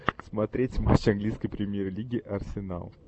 смотреть матч английской премьер лиги арсенал